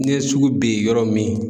Ne ye sugu ben yɔrɔ min